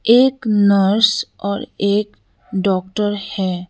एक नर्स और एक डॉक्टर हैं।